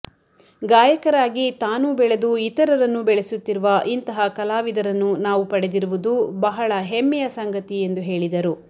ಗಾಯಕರಾಗಿ ತಾನೂ ಬೆಳೆದು ಇತರನ್ನೂ ಬೆಳೆಸುತ್ತಿರುವ ಇಂತಹ ಕಲಾವಿದರನ್ನು ನಾವು ಪಡೆದಿರುವುದು ಬಹಳ ಹೆಮ್ಮೆಯ ಸಂಗತಿ ಎಂದು ಹೇಳಿದರು